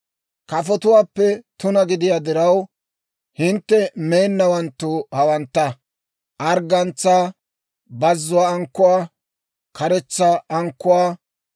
« ‹Kafotuwaappe tuna gidiyaa diraw hintte meennawanttu hawantta: arggantsaa, bazzuwaa ankkuwaa, karetsa ankkuwaa,